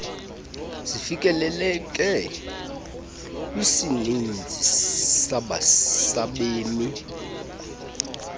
zifikeleleke kwisininzi sabemi